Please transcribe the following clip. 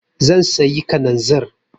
Zan sayi kananzir.